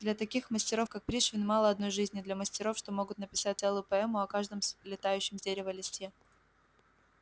для таких мастеров как пришвин мало одной жизни для мастеров что могут написать целую поэму о каждом слетающем с дерева листе